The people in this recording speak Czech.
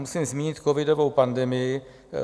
Musím zmínit covidovou pandemii.